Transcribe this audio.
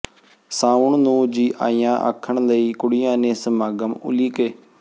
ਸਾਉਣ ਨੂੰ ਜੀ ਆਇਆਂ ਆਖਣ ਲਈ ਕੁੜੀਆਂ ਨੇ ਸਮਾਗਮ ਉਲੀਕੇ